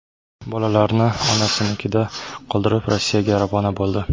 Bolalarini onasinikida qoldirib, Rossiyaga ravona bo‘ldi.